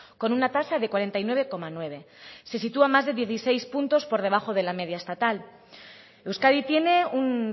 con una tasa de cuarenta y nueve coma nueve se sitúa a más de dieciséis puntos por debajo de la media estatal euskadi tiene un